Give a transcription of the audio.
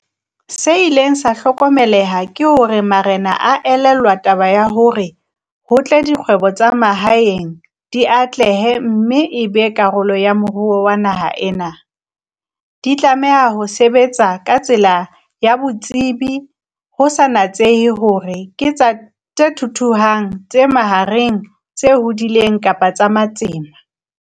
Se ileng sa hlokomeleha ke hore marena a elellwa taba ya hore ho tle dikgwebo tsa mahaeng di atlehe mme e be karolo ya moruo wa naha ena, di tlameha ho sebetsa ka tsela ya profeshenale ho sa natsehe hore ke tse thuthuhang, tse mahareng, tse hodileng kapa tsa matsema.